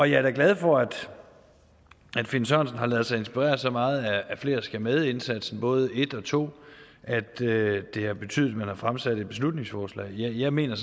jeg er da glad for at finn sørensen har ladet sig inspirere så meget af flere skal med indsatsen både en og to at det har betydet at man har fremsat et beslutningsforslag jeg mener